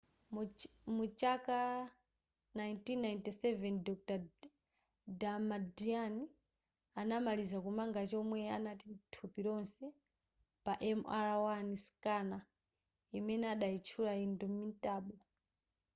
mu chaka 1997 dr damadian anamaliza kumanga chomwe amati ndi thupi lonse pa mri scanner imene adayitchula indomitable